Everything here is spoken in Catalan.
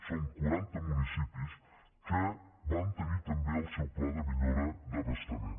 són quaranta municipis que van tenir també el seu pla de millora d’abastament